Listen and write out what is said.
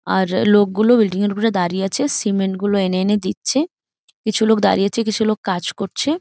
আর লোকগুলো বিল্ডিং এর উপরে দাঁড়িয়ে আছে। সিমেন্ট গুলো এনে এনে দিচ্ছে। কিছু লোক দাঁড়িয়ে আছে কিছু লোক কাজ করছে।